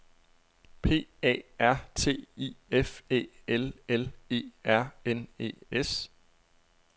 P A R T I F Æ L L E R N E S